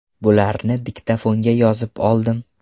Bularni diktofonga yozib oldim.